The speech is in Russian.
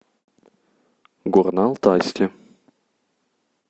горно алтайске